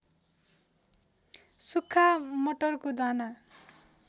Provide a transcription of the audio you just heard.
सुक्खा मटरको दाना